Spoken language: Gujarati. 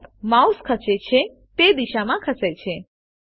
લેમ્પ માઉસ ખસે છે તે દિશામાં ખસે છે